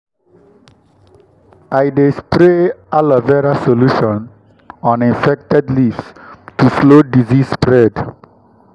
i dey spray aloe vera solution on infected leaves to slow disease spread.